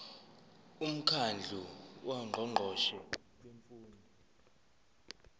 umkhandlu wongqongqoshe bemfundo